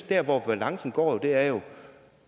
der hvor balancen går er jo